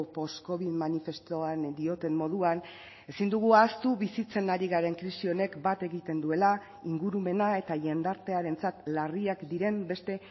postcovid manifestuan dioten moduan ezin dugu ahaztu bizitzen ari garen krisi honek bat egiten duela ingurumena eta jendartearentzat larriak diren beste